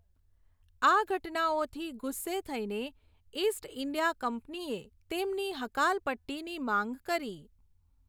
આ ઘટનાઓથી ગુસ્સે થઈને, ઈસ્ટ ઈન્ડિયા કંપનીએ તેમની હકાલપટ્ટીની માંગ કરી.